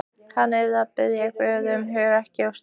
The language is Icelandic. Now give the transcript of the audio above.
Hann yrði að biðja Guð um hugrekki og styrk.